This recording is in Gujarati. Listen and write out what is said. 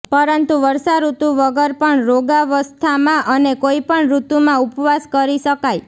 પરંતુ વર્ષા ઋતુ વગર પણ રોગાવસ્થામાં અને કોઈપણ ઋતુમાં ઉપવાસ કરી શકાય